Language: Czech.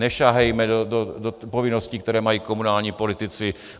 Nesahejme do povinností, které mají komunální politici.